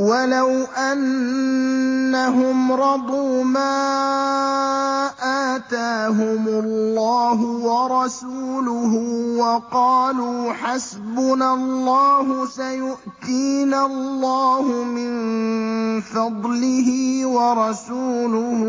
وَلَوْ أَنَّهُمْ رَضُوا مَا آتَاهُمُ اللَّهُ وَرَسُولُهُ وَقَالُوا حَسْبُنَا اللَّهُ سَيُؤْتِينَا اللَّهُ مِن فَضْلِهِ وَرَسُولُهُ